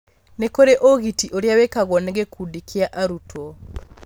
nĩ kũrĩ ũgiti ũria wĩkagwo nĩ gĩkundi kia arutwo.